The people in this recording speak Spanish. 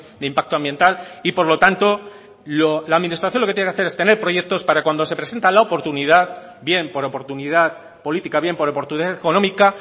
de impacto ambiental y por lo tanto la administración lo que tiene que hacer es tener proyectos para cuando se presenta la oportunidad bien por oportunidad política bien por oportunidad económica